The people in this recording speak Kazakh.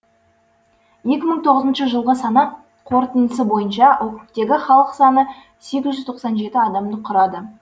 екі мың тоғызыншы жылғы санақ қорытындысы бойынша округтегі халық саны сегіз жүз тоқсан жеті адамды құрады